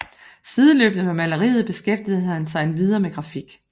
Sideløbende med maleriet beskæftigede han sig endvidere med grafik